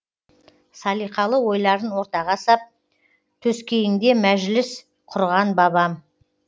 салиқалы ойларын ортаға сап төскейіңде мәжіліс құрған бабам